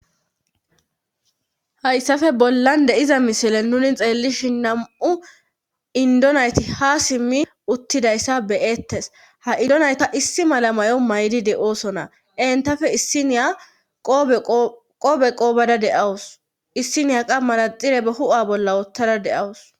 hayssafe bollan de7iza misilen nuni xeellishi nam7u indonayti ha simmi uttidayssa beyettes ha idonayta issi mala mayo maydi de oosona entafe issiniya qoobe qoobada deawus issiniya qammara xire ba hu7a bolla woottada deawus